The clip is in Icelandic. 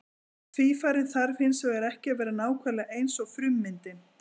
Tvífarinn þarf hins vegar ekki að vera nákvæmlega eins og frummyndin.